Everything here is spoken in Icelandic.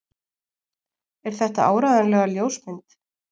Er þetta áreiðanlega ljósmynd?